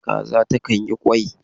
Kaza ta kan yi kwai.